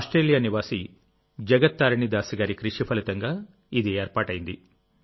Australia నివాసి జగత్ తారిణి దాసి గారి కృషి ఫలితంగాఇది ఏర్పాటైంది